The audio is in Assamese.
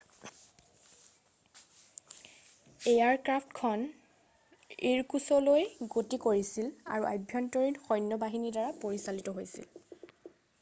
এয়াৰক্ৰাফ্টখন ইৰকুছলৈ গতি কৰিছিল আৰু আভ্যন্তৰীণ সৈন্য বাহিনীৰ দ্বাৰা পৰিচালিত হৈছিল